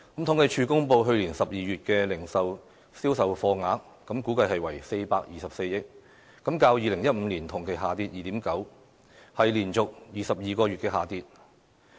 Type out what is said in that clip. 統計處公布去年12月的零售業銷貨額，估計為424億元，較2015年同期下跌 2.9%， 是連續22個月下跌。